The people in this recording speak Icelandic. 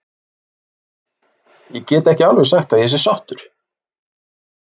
Ég get ekki alveg sagt að ég sé sáttur.